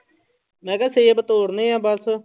ਮੈਂ ਕਿਹਾ ਸੇਬ ਤੋੜਨੇ ਆ ਬਸ।